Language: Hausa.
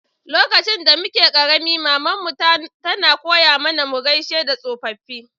Lokacin da muke karemi, mama'n mu tana koya mana mu gaisawa tsofaffi.